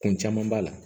Kun caman b'a la